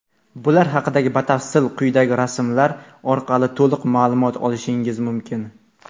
Bular haqida batafsil quyidagi rasmlar orqali to‘liq ma’lumot olishingiz mumkin.